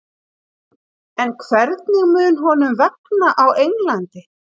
En hvernig mun honum vegna á Englandi?